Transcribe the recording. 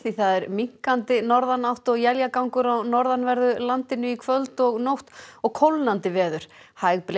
það er minnkandi norðanátt og éljagangur á norðanverðu landinu í kvöld og nótt og kólnandi veður hæg